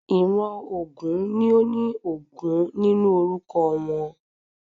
Ìran ògún ni óní Ògún nínú orúkọ wọ́n